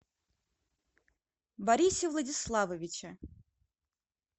борисе владиславовиче